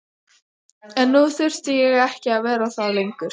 En nú þurfti ég ekki að vera það lengur.